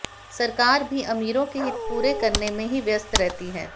सरकार भी अमीरों के हित पूरे करने में ही व्यस्त रहती है